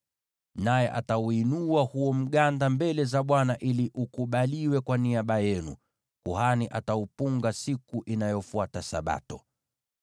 Naye atauinua huo mganda mbele za Bwana ili ukubaliwe kwa niaba yenu; kuhani ataupunga siku inayofuata Sabato.